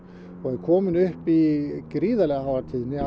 og er komin upp í gríðarlega háa tíðni